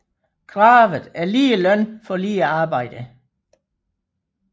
Kravet er lige løn for lige arbejde